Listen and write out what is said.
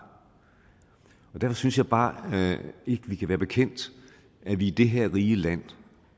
derfor synes jeg bare ikke vi kan være bekendt at vi i det her rige land